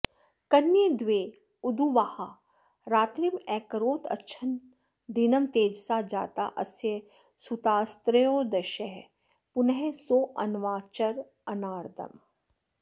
कन्ये द्वे उदुवाह रात्रिमकरोद्गच्छन् दिनं तेजसा जाता अस्य सुतास्त्रयोदश पुनः सोऽन्वाचरन्नारदम्